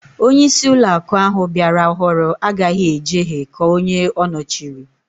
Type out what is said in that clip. Onyeisi uloaku ahu biara ọhụrụ agaghi ejehe ka onye ọ nọchịrị